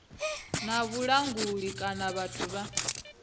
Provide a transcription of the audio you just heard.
na vhulanguli kana vhathu vha